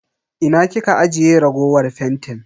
Ina kika ajiye raguwar fentin?